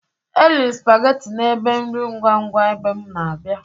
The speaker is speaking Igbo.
Eriri m sụpagetị n'ebe nri ngwangwa mgbe m na-abia.